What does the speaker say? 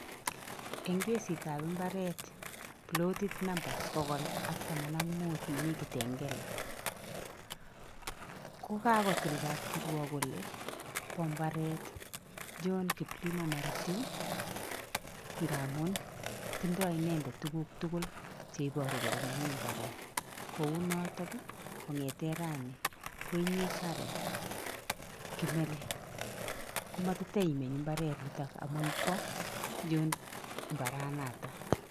En kesitab mbaret pilotit namba pokol ak taman ak mut nemi Kitengela, kokakotil kapkiruok kole bo mbaret John Kiplimo Maritim ngamun tindo inendet tuguk tugul cheiboru kole nenyin mbaret kounoton ii kong'eten rani koinye Karen Kimeli komotiteimeny mbaret niton ngamun bo John mbaranoton.